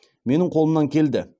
менің қолымнан келді